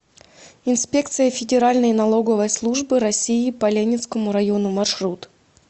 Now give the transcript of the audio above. инспекция федеральной налоговой службы россии по ленинскому району маршрут